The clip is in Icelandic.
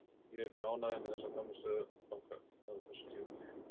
Ég er mjög ánægður með frammistöðu okkar á þessu tímabili.